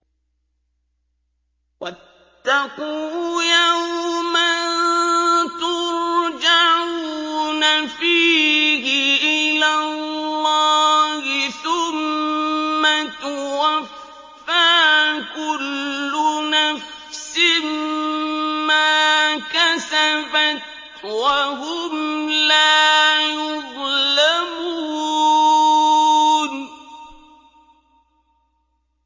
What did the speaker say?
وَاتَّقُوا يَوْمًا تُرْجَعُونَ فِيهِ إِلَى اللَّهِ ۖ ثُمَّ تُوَفَّىٰ كُلُّ نَفْسٍ مَّا كَسَبَتْ وَهُمْ لَا يُظْلَمُونَ